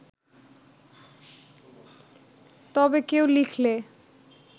তবে কেউ লিখলে